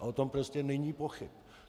A o tom prostě není pochyb.